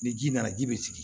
Ni ji nana ji bɛ sigi